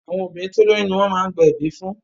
Àwọn obìnrin tó lóyún ni wọ́n má ń gba ẹ̀bí fún